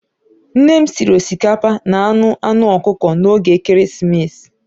Nne m sịrị osikapa na anụ anụ ọkụkọ n'oge Ekeresimesi.